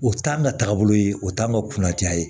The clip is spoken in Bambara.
O t'an ka taabolo ye o t'an ka kunnatiya ye